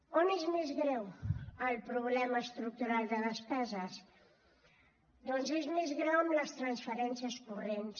on és més greu el problema estructural de despeses doncs és més greu en les transferències corrents